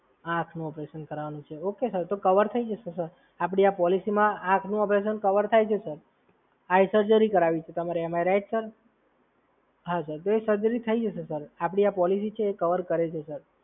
આંખનું operation કારવવાનું છે, okay sir? તો કવર થઈ જશે સર, આપડી આ પોલિસીમાં આંખનું ઓપરેશન કવર થાય છે, સર. આઈ સર્જરી કરાવવી છે કે તમારે MRI? તો એ સર્જરી જશે, સર. આપડી આ પોલિસી છે એ કવર કરે છે, સર.